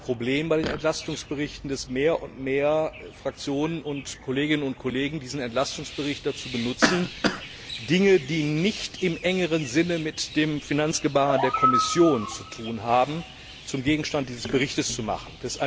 Wir haben bei den Entlastungsberichten ein Problem, nämlich dass mehr und mehr Fraktionen und Kolleginnen und Kollegen diesen Entlastungsbericht dazu benutzen, Dinge, die nicht im engeren Sinn mit dem Finanzgebaren der Kommission zu tun haben, zum Gegenstand dieses Berichts zu machen.